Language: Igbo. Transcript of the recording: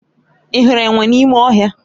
Ị hụrụ enwe n'ime ọhịa?